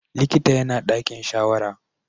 Likitan yana ɗakin shawara.